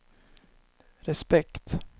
respekt